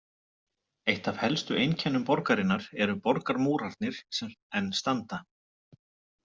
Eitt af helstu einkennum borgarinnar eru borgarmúrarnir sem enn standa.